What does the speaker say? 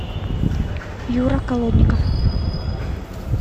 юра колодников